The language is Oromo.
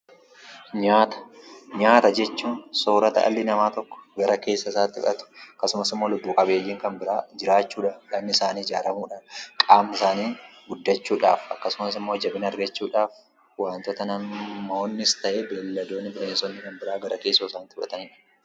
Nyaata jechuun soorata dhalli namaa tokko gara keessa isaatti fudhatu akkasumas immoo lubbuu qabeeyyiin kan biraa jiraachuudhaaf, qaamni isaanii ijaaramudhaaf, qaamni isaanii guddachuudhaaf akkasumas immoo jabina argachuudhaaf waantota namoonnis ta'e, beeyladoonni, bineensonni kan biraan gara keessoo isaaniitti fudhatanidha.